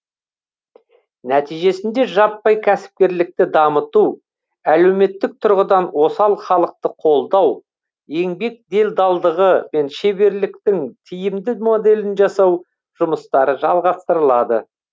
нәтижесінде жаппай кәсіпкерлікті дамыту әлеуметтік тұрғыдан осал халықты қолдау еңбек делдалдығы мен шеберліктің тиімді моделін жасау жұмыстары жалғастырылады